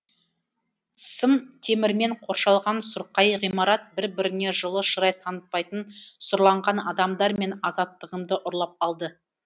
сым темірмен қоршалған сұрқай ғимарат бір біріне жылы шырай танытпайтын сұрланған адамдар менің азаттығымды ұрлап алды